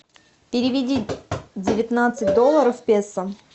переведи девятнадцать долларов в песо